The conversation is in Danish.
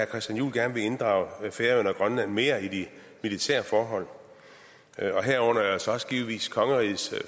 christian juhl gerne vil inddrage færøerne og grønland mere i de militære forhold herunder altså også givetvis kongerigets